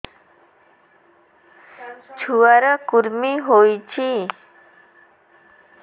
ଛୁଆ ର କୁରୁମି ହୋଇଛି